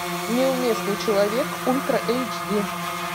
неуместный человек ультра эйч ди